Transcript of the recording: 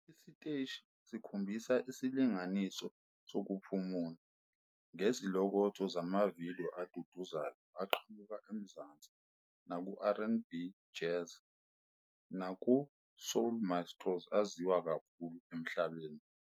Isiteshi sikhombisa isilinganiso sokuphumula, ngezilokotho zamavidiyo aduduzayo aqhamuka eMzansi naseRnB, Jazz, naseSoul maestros aziwa kakhulu emhlabeni.